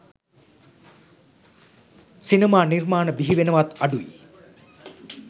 සිනමා නිර්මාණ බිහිවෙනවාත් අඩුයි.